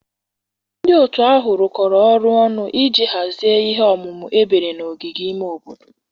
Ndị otu ahụ rụkọrọ ọrụ ọnụ iji hazie ihe omume ebere na ogige ime obodo